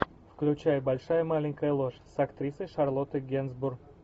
включай большая маленькая ложь с актрисой шарлоттой генсбур